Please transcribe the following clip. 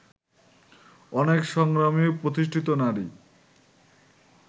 অনেক সংগ্রামী ও প্রতিষ্ঠিত নারী